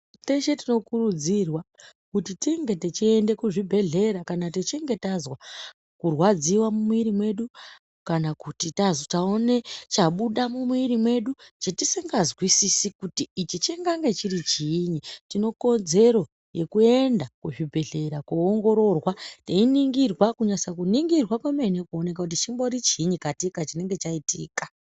Teshe tinokurudzirwa kuti tinge tichiende kuzvibhehlera kana techinge tazwa kurwadziwa mumwiri medu kana kuti tazitaone chabuda mumiri medu chetisingazwisisi kuti ichi chikange chiri chiinyi tinekodzero yekuenda kuchibhehlera koongororwa teiningirwa kunase kuningirwa kwemene kuoneke kuti chimbori chiinyi katika chinenge chaitika